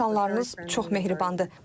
İnsanlarınız çox mehribandır.